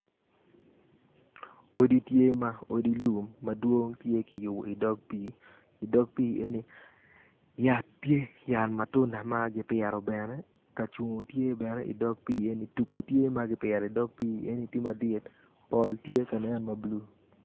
Odi tye ma odi lum madwong tye kiyubo idog pii idog pii enoni yat tye yat matunda ma kipito ka cungo tye tugu tye ma kipito idog pii enoni tye madit pol tye ka nen ma blue.